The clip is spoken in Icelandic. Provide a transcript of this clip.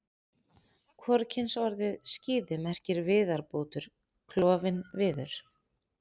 Hvorugkynsorðið skíði merkir viðarbútur, klofinn viður.